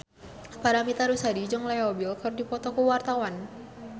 Paramitha Rusady jeung Leo Bill keur dipoto ku wartawan